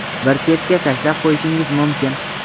bir chetga tashlab qo‘yishingiz mumkin.